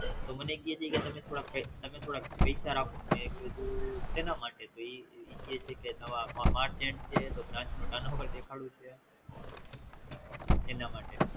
તો મને ક્યે છે કે સાયબ થોડા પૈસા રાખો મેં કીધું સેના માટે તો ઈ કી છે કે નવા March end છે તો branch નૂ Turn over દેખાડવું છે એને મેટે